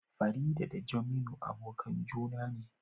Farida da Jeminu abokan juna ne